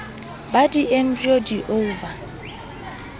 ba di embryo di ova